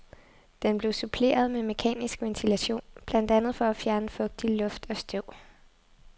Den blev suppleret med mekanisk ventilation, blandt andet for at fjerne fugtig luft og støv.